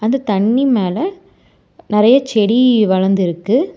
அந்த தண்ணி மேல நெறைய செடி வளர்ந்துருக்கு.